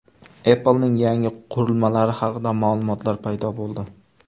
Apple’ning yangi qurilmalari haqida ma’lumotlar paydo bo‘ldi.